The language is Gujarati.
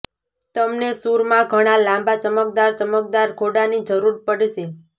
તમને સૂરમાં ઘણા લાંબા ચમકદાર ચમકદાર ઘોડાની જરૂર પડશે